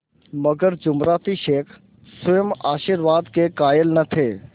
मगर जुमराती शेख स्वयं आशीर्वाद के कायल न थे